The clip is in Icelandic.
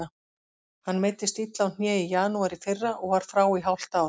Hann meiddist illa á hné í janúar í fyrra og var frá í hálft ár.